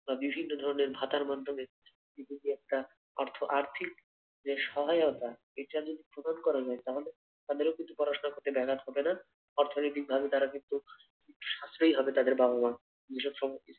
বা বিভিন্ন ধরণের ভাতার মাধ্যমে একটা অর্থ আর্থিক যে সহায়তা এটা যদি প্রদান করা যায় তাহলে তাদেরও পড়াশোনা করতে ব্যাঘাত হবে না, অর্থনৈতিক ভাবে তারা কিন্তু সাশ্রয়ি হবে তাদের বাবা মা। বিষাদ